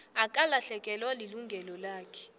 akalahlekelwa lilungelo lakhe